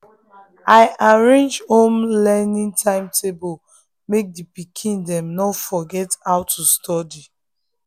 i arrange home learning timetable make the pikin dem no forget how to study.